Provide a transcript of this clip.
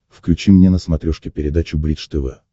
включи мне на смотрешке передачу бридж тв